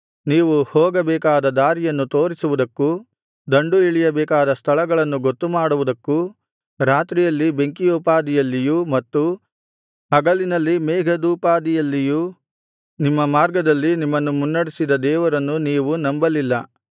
ನೀವು ಹೋಗಬೇಕಾದ ದಾರಿಯನ್ನು ತೋರಿಸುವುದಕ್ಕೂ ದಂಡು ಇಳಿಯಬೇಕಾದ ಸ್ಥಳಗಳನ್ನು ಗೊತ್ತುಮಾಡುವುದಕ್ಕೂ ರಾತ್ರಿಯಲ್ಲಿ ಬೆಂಕಿಯೋಪಾದಿಯಲ್ಲಿಯೂ ಮತ್ತು ಹಗಲಿನಲ್ಲಿ ಮೇಘದೋಪಾದಿಯಲ್ಲಿಯೂ ನಿಮ್ಮ ಮಾರ್ಗದಲ್ಲಿ ನಿಮ್ಮನ್ನು ಮುನ್ನಡೆಸಿದ ದೇವರನ್ನು ನೀವು ನಂಬಲಿಲ್ಲ